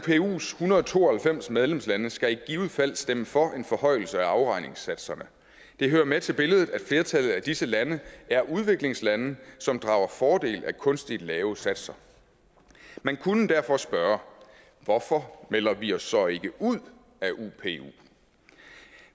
hundrede og to og halvfems medlemslande skal i givet fald stemme for en forhøjelse af afregningssatserne det hører med til billedet at flertallet af disse lande er udviklingslande som drager fordel af kunstigt lave satser man kunne derfor spørge hvorfor melder vi os så ikke ud af upu